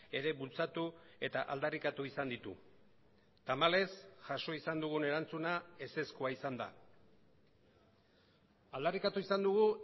ere bultzatu eta aldarrikatu izan ditu tamalez jaso izan dugun erantzuna ezezkoa izan da aldarrikatu izan dugu